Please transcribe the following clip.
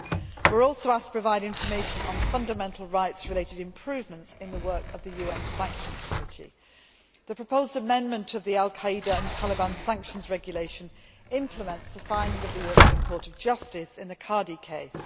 We were also asked to provide information on fundamental rights related improvements in the work of UN Sanctions Committees. The proposed amendment of the al Qaeda and Taliban Sanctions Regulation implements the findings of the European Court of Justice in the Kadi case.